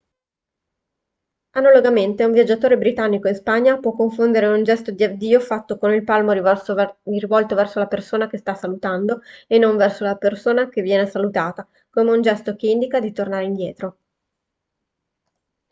analogamente un viaggiatore britannico in spagna può confondere un gesto di addio fatto con il palmo rivolto verso la persona che sta salutando e non verso la persona che viene salutata come un gesto che indica di tornare indietro